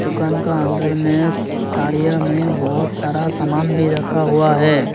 दुकान का अंदर में थाड़िया में बहुत सारा सामान भी रखा हुआ है।